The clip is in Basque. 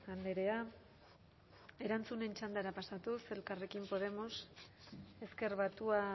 andrea erantzunen txandara pasatuz elkarrekin podemos ezker batua